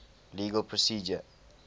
legal procedure